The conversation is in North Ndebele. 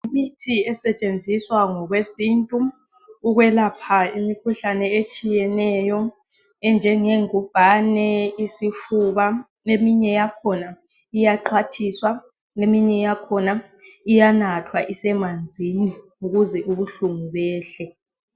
Imithi esetshenziswa ngokwesintu ukwelapha imikhuhlane etshiyeneyo enjenge ngubhane, isifuba. Eminye yakhona iyaxhwathiswa, eminye yakhina iyanathwa isemanzini ukuze ubuhlungu behle.